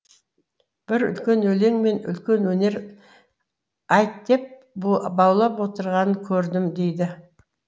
бір үлкен өлең мен үлкен өнер айт деп баулып отырғанын көрдім деді